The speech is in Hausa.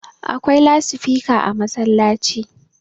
akwai lasifika a masallaci